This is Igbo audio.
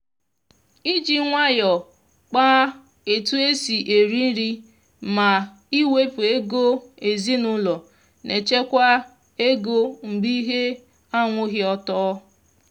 iji nwayọ kpa etu esi eri nri ma iwepu ego ezinaụlọ na echekwa ego mgbe ihe anwụghị ọtọ.